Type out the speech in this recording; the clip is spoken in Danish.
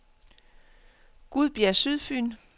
Gudbjerg Sydfyn